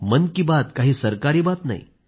मन की बात काही सरकारी बात नाही